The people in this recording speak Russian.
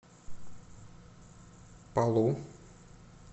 палу